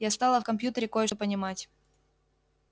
я стала в компьютере кое-что понимать